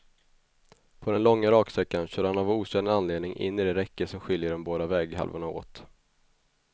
På den långa raksträckan körde han av okänd anledning in i det räcke som skiljer de båda väghalvorna åt.